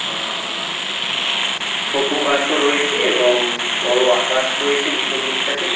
আ আ ছোট গাছ ও রয়েছে এবং বড় আকাশ রয়েছে পিছন ডিক টাতে।